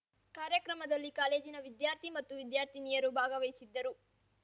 ಕಾರ್ಯಕ್ರಮದಲ್ಲಿ ಕಾಲೇಜಿನ ವಿದ್ಯಾಥಿ ಮತ್ತು ವಿದ್ಯಾರ್ಥಿನಿಯರು ಭಾಗವಹಿಸಿದ್ದರು